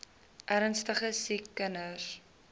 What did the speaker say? ernstige siek kinders